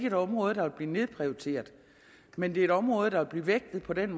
et område der vil blive nedprioriteret men det er et område der vil blive vægtet på den